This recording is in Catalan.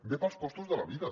ve pels costos de la vida